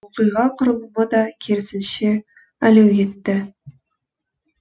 оқиға құрылымы да керісінше әлеуетті